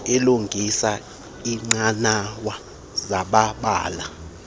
ilungise iinqanawa zamabala